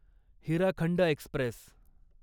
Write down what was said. Hirakhand Express